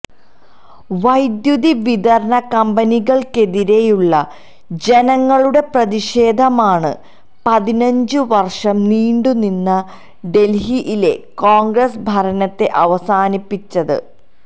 വൈദ്യുതി വിതരണ കമ്പനികള്ക്കെതിരെയുള്ള ജനങ്ങളുടെ പ്രതിഷേധമാണ് പതിനഞ്ചു വര്ഷം നീണ്ടു നിന്ന ഡെല്ഹിയിലെ കോണ്ഗ്രസ് ഭരണത്തെ അവസാനിപ്പിച്ചത്